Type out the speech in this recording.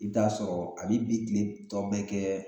I bi t'a sɔrɔ a b'i bi kile tɔ bɛɛ kɛ